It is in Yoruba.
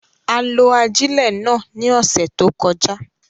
A lo ajilẹ náà ni ọsẹ to kọja